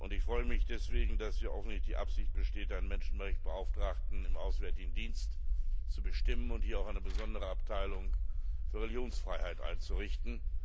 Ich freue mich deswegen, dass offensichtlich die Absicht besteht, einen Menschenrechtsbeauftragten im Auswärtigen Dienst zu bestimmen und hier auch eine besondere Abteilung für Religionsfreiheit einzurichten.